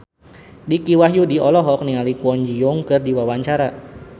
Dicky Wahyudi olohok ningali Kwon Ji Yong keur diwawancara